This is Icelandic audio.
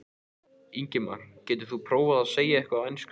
Ingimar: Geturðu prófað að segja eitthvað á ensku?